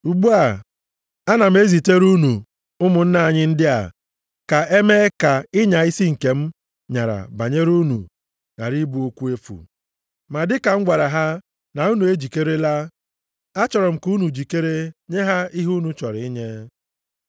Ugbu a, ana m ezitere unu ụmụnna anyị ndị a ka e mee ka ịnya isi nke m nyara banyere unu ghara ịbụ okwu efu. Ma dịka m gwara ha na unu ejikerela, achọrọ m ka unu jikere nye ha ihe unu chọrọ inye.